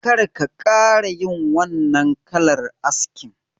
Kar ka ƙara yin wannan kalar askin